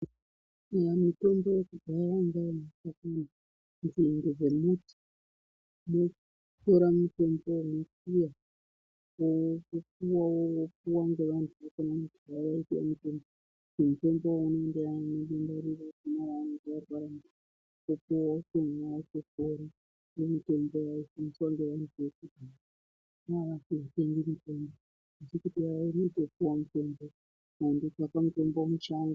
Kare mitombo yekudhaya yaiva yemashakani ne nzinde dzemiti vaitora mitombo iyoyo kuyiwa yooma youyay yopiwa ngevantu mitombo yaipiwa muntu otopona nemitombo yainotsvakwa mushango.